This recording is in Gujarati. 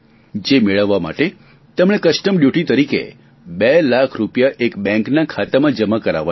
જે મેળવવા માટે તેમણે કસ્ટમ ડ્યુટી તરીકે બે લાખ રૂપિયા એક બેંકના ખાતામાં જમા કરાવવાના છે